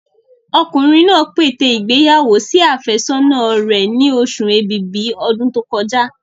Ọkùnrin náà pète ìgbéyàwó sí àfẹ́sọ́nà rẹ̀ ni oṣù ẹ̀bìbí ọdún tó kọjá.